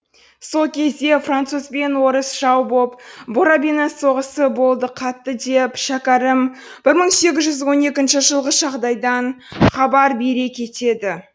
сол кезде французбен орыс жау боп боробиннің соғысы болды қатты деп шәкәрім бір мың сегіз жүз он екінші жылғы жағдайдан хабар бере кетеді